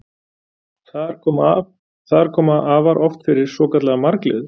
Þar koma afar oft fyrir svokallaðar margliður.